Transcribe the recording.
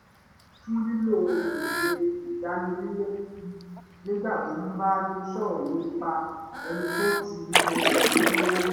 ó yẹra fún lílo èdè ìdánilẹ́bi nígbà tó bá ń sọrọ̀ nípa ẹni tó ti lo oògùn olóró rí